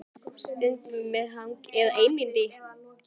Stundum með hangikjöti og stundum með síld.